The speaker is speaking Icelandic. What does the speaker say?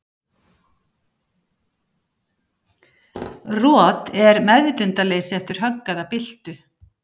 Rot er meðvitundarleysi eftir högg eða byltu.